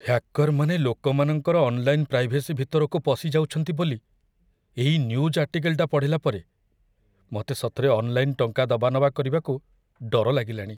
ହ୍ୟାକର୍‌ମାନେ ଲୋକମାନଙ୍କର online privacy ଭିତରକୁ ପଶି ଯାଉଛନ୍ତି ବୋଲି ଏଇ ନ୍ୟୁଜ୍ ଆର୍ଟିକଲ୍‌ଟା ପଢ଼ିଲା ପରେ ମତେ ସତରେ ଅନ୍ଲାଇନ୍ ଟଙ୍କା ଦବା ନବା କରିବାକୁ ଡର ଲାଗିଲାଣି ।